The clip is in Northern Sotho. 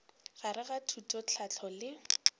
gare ga thuto tlhahlo le